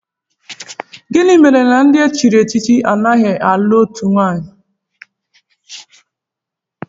Gịnị mere na ndị e chiri echichi anaghị alụ so otu nwaanyị?